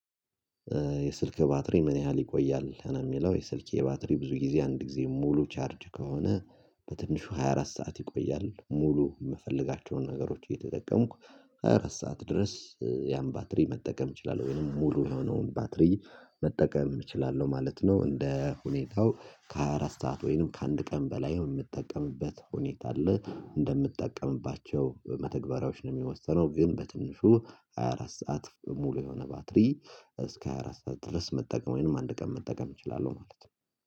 የስልክህ ባትሪ ምን ያህል ይቆያል ነው የሚለው? የስልኬ ባትሪ ብዙ ጊዜ አንድ ጊዜ ሙሉ ቻርጅ ከሆነ በትንሹ ሃያ አራት ሰዓት ይቆያል ሙሉ የምፈልጋቸውን ነገሮች እየተጠቀምኩ ሃያ አራት ሰዓት ድረስ ያን ባትሪ መጠቀም እችላለሁ ወይንም ሙሉ የሆነውን ባትሪ መጠቀም እችላለሁ ማለት ነው። እንደ ሁኔታው ከሃያ አራት ሰዓት ወይንም ከአንድ ቀን በላይ የምጠቀምበት ሁኔታ አለ እንደምጠቀምባቸው መተግበሪያዎች ነው የሚወሰነው። ግን በትንሹ ሃያ አራት ሰዓት ሙሉ የሆነ ባትሪ እስከ ሃያ አራት ሰዓት ድረስ መጠቀም ወይንም አንድ ቀን መጠቀም እችላለሁ ማለት ነው